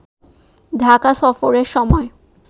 ঢাকা সফরের সময়